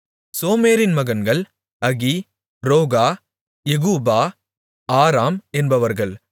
சோமேரின் மகன்கள் Ahi Rohgah எகூபா Aram என்பவர்கள்